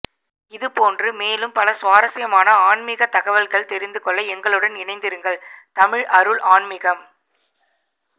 இது போன்று மேலும் பல சுவாரஸ்யமான ஆன்மீக தகவல்கள் தெரிந்து கொள்ள எங்களுடன் இணைந்திருங்கள் தமிழ் அருள் ஆண்மீகம்